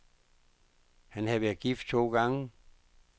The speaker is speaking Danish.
Han havde været gift to gange.